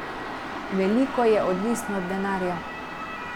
Veliko je odvisno od denarja.